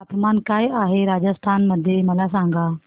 तापमान काय आहे राजस्थान मध्ये मला सांगा